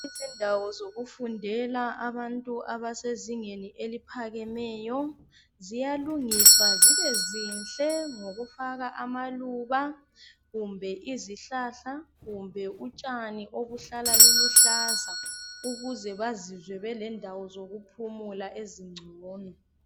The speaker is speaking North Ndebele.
Izindawo zokufundela abantu abasezingeni eliphakameyo ziyalungiswa zibe zinhle ngokufaka amaluba kumbe izihlahla kumbe utshani obuhlala luluhlaza ukuze bazizwe belendawo zokuphumula ezingcono